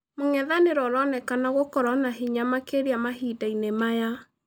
Mũng'ethanĩro ũronekana gũkorũo na hinya makĩria mahinda-inĩ maya.